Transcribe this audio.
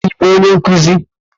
Ị bụ onye nkuzi?